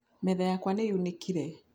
Metha yakwa nĩ yunĩkire.